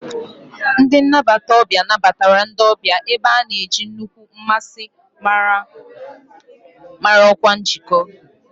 Ndị nnabata ọbịa nabatara ndị ọbịa, ebe a na-eji nnukwu mmasị mara ọkwa njikọ.